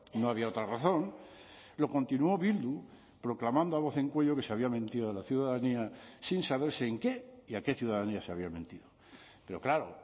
no había otra razón lo continúo bildu proclamando a voz en cuello que se había mentido a la ciudadanía sin saberse en qué y a qué ciudadanía se había mentido pero claro